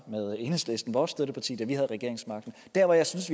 med enhedslisten vores støtteparti da vi havde regeringsmagten der hvor jeg synes